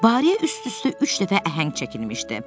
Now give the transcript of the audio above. Barıyə üst-üstə üç dəfə əhəng çəkilmişdi.